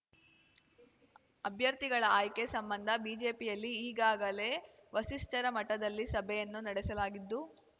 ಅಭ್ಯರ್ಥಿಗಳ ಆಯ್ಕೆ ಸಂಬಂಧ ಬಿಜೆಪಿಯಲ್ಲಿ ಈಗಾಗಲೇ ವಸಿಷ್ಠರ ಮಠದಲ್ಲಿ ಸಭೆಯನ್ನು ನಡೆಸಲಾಗಿದ್ದು